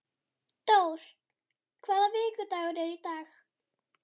Dór, hvaða vikudagur er í dag?